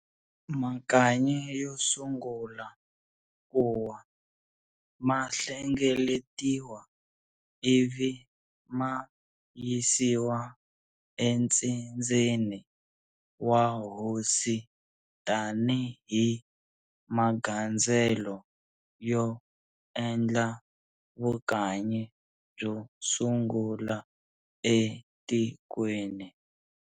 Makanyi yo sungula kuwa, ma hlengeletiwa ivi ma yisiwa entsindzeni wa hosi ta ni hi magandzelo yo endla vukanyi byo sungula etikweni.